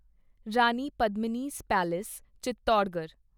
Rani Padmini's palace Chittorgarh